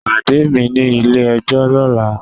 Pade mi ni ile-ẹjọ lọla!